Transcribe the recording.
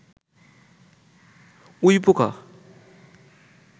উইপোকা